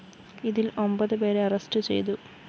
ഇതില്‍ ഒമ്പത് പേരെ അറസ്റ്റു ചെയ്തു